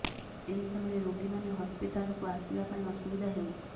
ଏହି ସମୟରେ ରୋଗୀମାନେ ହସ୍ପିଟାଲକୁ ଆସିବା ପାଇଁ ଅସୁବିଧା ହେଉଛି